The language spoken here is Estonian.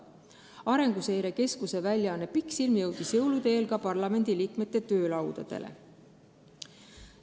Arenguseire Keskuse väljaanne Pikksilm jõudis jõulude eel ka parlamendiliikmete töölaudadele.